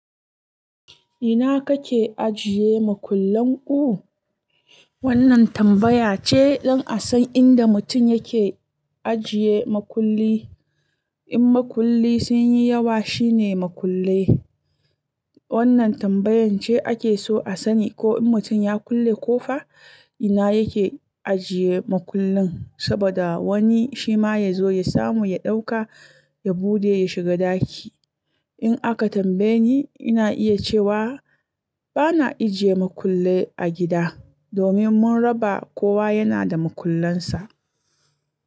Ina kake ajiye makullan ku? Wannan tambaya ce don a san inda mutum yake ajiye makulli. In makulli sun yi yawa shine makullai. Wannan tambayan ce ake so a sani ko mutum ya kulle ko fa ina yake ajiye makullin, saboda wani shi ma ya zo ya samu, ya ɗauka, ya buɗe ya shiga ɗaki. In aka tambaye ni, ina iya cewa bana ijiye makullai a gida domin mun raba kowa yana da makullansa.